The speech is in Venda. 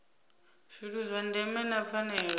zwithu zwa ndeme na pfanelo